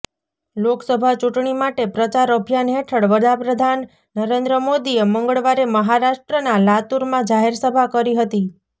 લોકસભા ચૂંટણી માટે પ્રચાર અભિયાન હેઠળ વડાપ્રધાન નરેન્દ્ર મોદીએ મંગળવારે મહારાષ્ટ્રના લાતૂરમાં જાહેરસભા કરી હતી